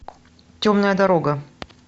темная дорога